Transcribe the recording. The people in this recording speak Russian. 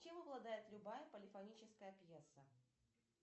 чем обладает любая полифоническая пьеса